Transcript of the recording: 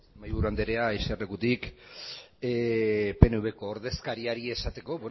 mahaiburu anderea jesarlekutik pnvko ordezkariari esateko